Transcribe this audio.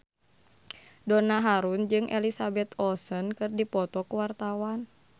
Donna Harun jeung Elizabeth Olsen keur dipoto ku wartawan